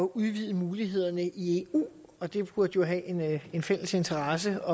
udvide mulighederne i eu og det burde vi jo have en fælles interesse